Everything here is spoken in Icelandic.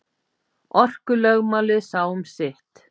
Orkulögmálið sá um sitt.